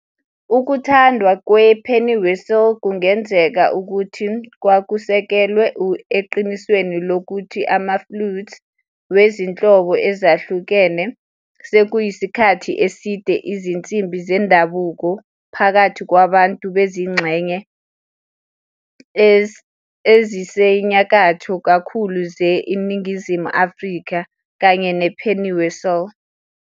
Ukuthandwa kwe- pennywhistlekungenzeka ukuthi kwakusekelwe eqinisweni lokuthi ama-flutes we izinhlobo ezahlukene sekuyisikhathi eside izinsimbi zendabuko phakathi kwabantu bezingxenye ezisenyakatho kakhulu ze INingizimu Afrika, kanye ne-pennywhistle